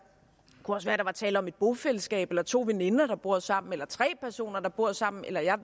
var tale om et bofællesskab eller to veninder der bor sammen eller tre personer der bor sammen eller